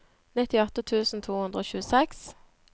nittiåtte tusen to hundre og tjueseks